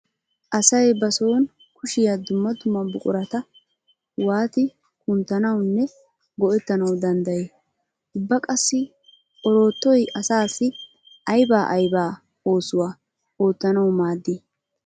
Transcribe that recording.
Asay ba sooni koshshiya dumma dumma buqurata waati kunaatanawunne go'ettanawu danddayii? Ubba qassi oroottoy asaassi ayba ayba oosuwa oottanawu maaddii?